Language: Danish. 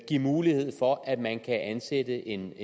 give mulighed for at man kan ansætte en